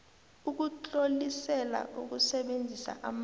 ukutlolisela ukusebenzisa amanzi